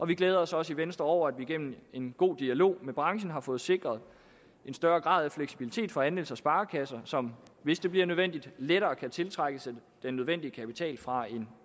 vi glæder os også i venstre over at vi gennem en god dialog med branchen har fået sikret en større grad af fleksibilitet for andels og sparekasser som hvis det bliver nødvendigt lettere kan tiltrække sig den nødvendige kapital fra en